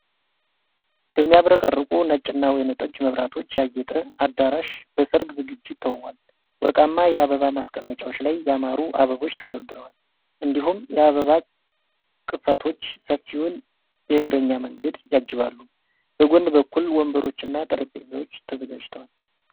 በሚያብረቀርቁ ነጭና ወይንጠጅ መብራቶች ያጌጠ አዳራሽ በሠርግ ዝግጅት ተውቧል። ወርቃማ የአበባ ማስቀመጫዎች ላይ ያማሩ አበቦች ተደርድረዋል፣ እንዲሁም የአበባ ቅስቶች ሰፊውን የእግረኛ መንገድ ያጅባሉ። በጎን በኩል ወንበሮችና ጠረጴዛዎች ተዘጋጅተዋል።